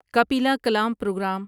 Kapila Kalam programme